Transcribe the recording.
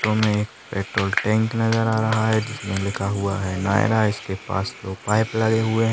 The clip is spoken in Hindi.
हमे एक पेट्रोल टंक नजर आ रहा है जिसमें लिखा हुआ है नायरा इसके पास दो पाइप लगे हुए हैं।